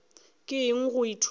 ke eng go ithuta o